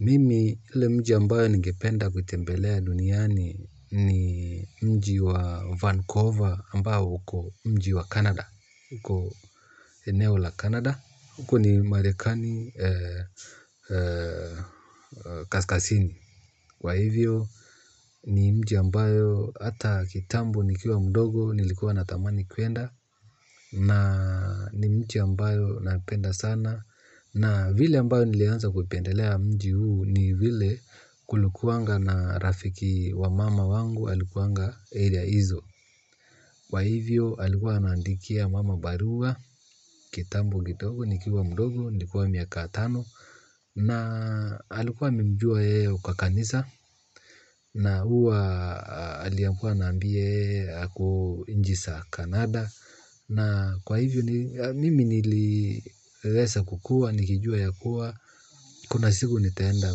Mimi ile mji ambayo ningependa kutembelea duniani ni mji wa Vancouver ambayo uko mji wa Canada. Huko eneo la Canada. Huko ni marekani kaskasini. Kwa hivyo ni mji ambayo hata kitambo nikiwa mdogo nilikuwa na tamani kuenda. Na ni mji ambayo napenda sana. Na vile ambayo nilianza kupendelea mji huu ni vile kulikuanga na rafiki wa mama wangu alikuanga area hizo. Kwa hivyo alikuwa anaandikia mama barua, kitambo kidogo, nikiwa mdogo, nilikuwa miaka tano. Na alikuwa amemjua yeye kwa kanisa na huwa aliyekuwa anaambia yeye ako nchi za canada. Na kwa hivyo, mimi niliesa kukua, nilijua ya kuwa, kuna siku nitaenda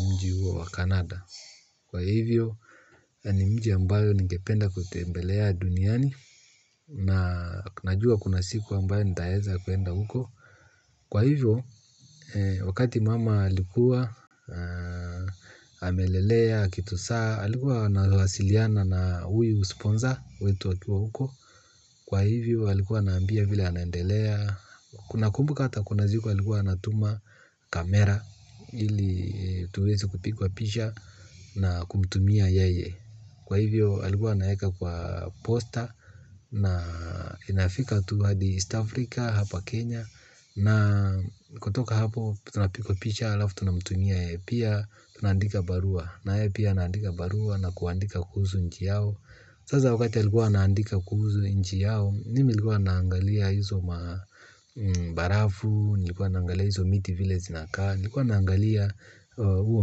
mji huo wa canada. Kwa hivyo, ni mji ambayo ningependa kutembelea duniani, na najua kuna siku ambayo nitaeza kuenda huko. Kwa hivyo, wakati mama alikuwa, amelelea, akitusaa, alikuwa wanawasiliana na huyu sponsor, wetu akiwa huko. Kwa hivyo alikuwa anaambia vile anendelea. Kuna kumbuka hata kuna ziku alikuwa anatuma kamera ili tuweze kupikwa pisha na kumtumia yeye. Kwa hivyo alikuwa anaeka kwa posta na inafika tu hadi east africa hapa kenya na kutoka hapo tunapikwa picha alafu tunamtumia yeye pia tunaandika barua na yeye pia anaandika barua na kuandika kuhusu nchi yao sasa wakati alikuwa anaandika kuhusu nchi yao, mimi nilikuwa naangalia hizo mabarafu, nilikuwa naangalia hizo miti vile zinakaa, nilikuwa naangalia huo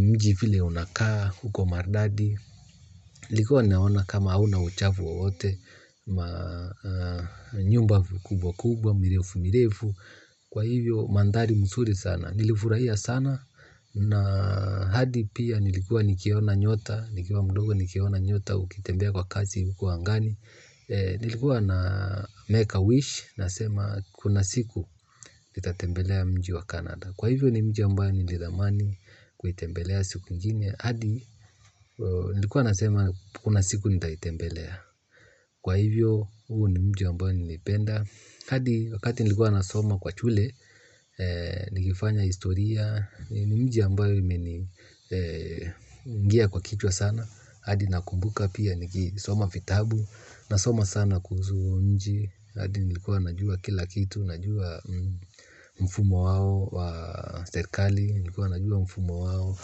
mji vile unakaa, huko maridadi, nilikuwa naona kama hauna uchafu wowote, nyumba kubwa kubwa, mirefu mirefu, kwa hivyo mandhari msuri sana. Nilifurahia sana na hadi pia nilikuwa nikiona nyota, nikiona mdogo nikiona nyota ukitembea kwa kazi huku angani. Nilikuwa na make a wish, nasema kuna siku nitatembelea mji wa Canada. Kwa hivyo ni mji ambayo nilidhamani kuitembelea siku ingine adi nilkuwa nasema kuna siku nitaitembelea Kwa hivyo huu ni mji ambayo nimeipenda. Hadi wakati nilikuwa nasoma kwa chule, nikifanya historia, ni mji ambayo imeni ingia kwa kichwa sana, hadi nakumbuka pia nikisoma fitabu, nasoma sana kuhuzu nji, hadi nilikuwa najua kila kitu, najua mfumo wao wa serikali, nilikuwa najua mfumo wao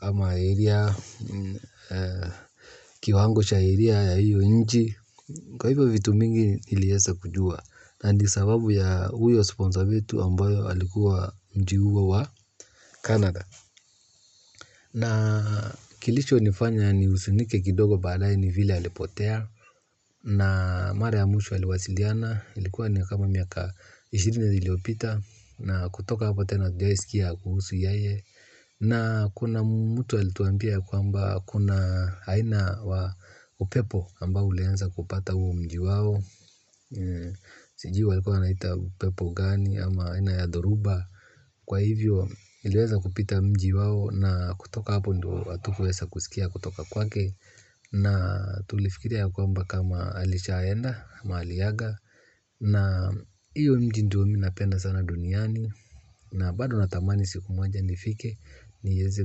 ama area, kiwango sha area ya hiyo nchi, kwa hivyo vitu mingi niliesa kujua. Na ndio sababu ya huyo sponsor wetu ambayo alikuwa mji huo wa wa canada. Na kilichonifanya niusunike kidogo badaye ni vile alipotea. Na mara ya mwisho aliwasiliana. Ilikuwa ni kama miaka ishirini iliyopita. Na kutoka hapo tena hatujai sikia kuhusu yeye. Na kuna mtu alituambia kwamba kuna aina wa upepo ambao ulianza kupata huo mji wao. Sijui walikuwa wanaita upepo gani ama aina ya dhoruba. Kwa hivyo iliweza kupita mji wao na kutoka hapo ndio hatukuwesa kusikia kutoka kwake. Na tulifikiria ya kwamba kama alishaenda ama aliaga. Na hiyo mji ndio mi napenda sana duniani. Na bado natamani siku moja nifike. Nieze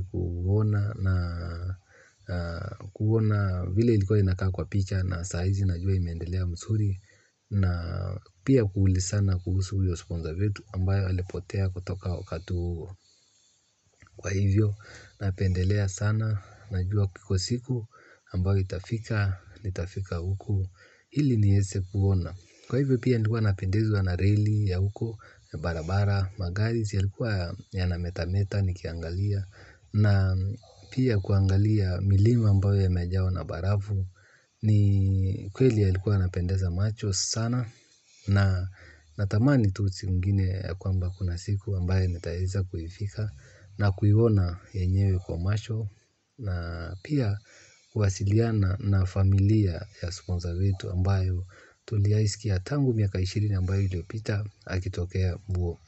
kuona na kuona vile ilikuwa inakaa kwa picha na saizi najua imeendelea msuri. Na pia kuulisana kuhusu huyo sponza wetu ambayo alipotea kutoka wakati huo kwa hivyo napendelea sana. Najua ipo siku ambayo itafika nitafika huko ili niese kuona. Kwa hivyo pia nilikuwa napendezwa na reli ya huko Barabara Magari ziyalikuwa yanametameta nikiangalia. Na pia kuangalia milima ambayo yamejawa na barafu. Ni kweli yalikuwa yanapendeza macho sana. Na tamani tu siku ingine ya kwamba kuna siku ambaye nitaeza kuifika na kuiwona yenyewe kwa masho na pia kuwasiliana na familia ya sponza wetu ambayo tuliai sikia tangu miaka ishirini ambayo iliopita akitokea huo.